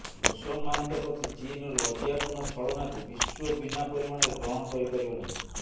ମୁସଲମାନଙ୍କ ପ୍ରତି ଚୀନ୍ର ଲଜ୍ଜାପୂର୍ଣ୍ଣ ଛଳନାକୁ ବିଶ୍ୱ ବିନା ପରିଣାମରେ ଗ୍ରହଣ କରି ପାରିବ ନାହିଁ